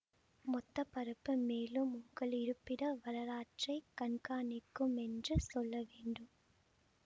மொத்த பரப்பு மேலும் உங்கள் இருப்பிட வரலாற்றை கண்காணிக்கும் என்று சொல்ல வேண்டும்